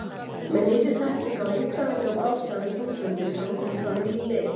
Með nýrri þekkingu á líffræðilegum ástæðum þunglyndis hafa komið fram ný lyf.